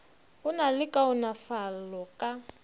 go na le kaonafalo ka